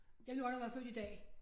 Jeg kunne godt have været født i dag